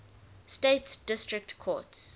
states district courts